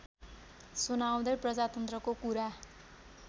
सुनाउँदै प्रजातन्त्रको कुरा